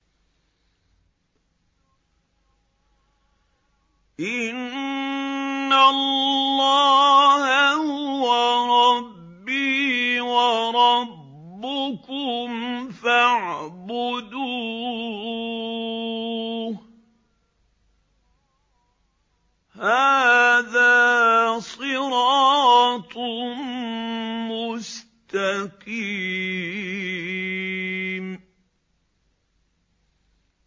إِنَّ اللَّهَ هُوَ رَبِّي وَرَبُّكُمْ فَاعْبُدُوهُ ۚ هَٰذَا صِرَاطٌ مُّسْتَقِيمٌ